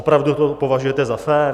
Opravdu to považujete za fér?